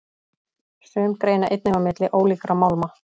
Sum greina einnig á milli ólíkra málma.